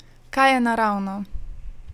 Kaj je naravno?